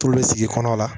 Tulu sigi kɔnɔ la